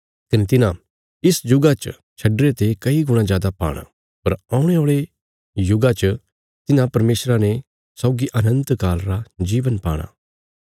कने तिन्हां इस जुगा च छड्डीरे ते कई गुणा जादा पाणा पर औणे औल़े युगा च तिन्हां परमेशरा ने सौगी अनन्त काल रा जीवन पाणा